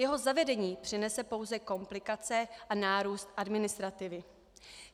Jeho zavedení přinese pouze komplikace a nárůst administrativy.